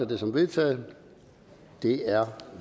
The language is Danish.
det som vedtaget det er